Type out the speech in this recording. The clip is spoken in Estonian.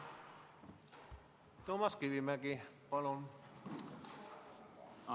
Toomas Kivimägi, palun!